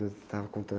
Você estava contando.